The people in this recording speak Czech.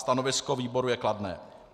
Stanovisko výboru je kladné.